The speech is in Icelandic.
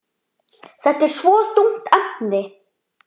Þetta er svo þungt efni.